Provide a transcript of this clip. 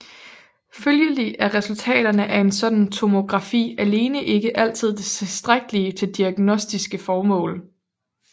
Følgelig er resultaterne af en sådan tomografi alene ikke altid tilstrækkelige til diagnostiske formål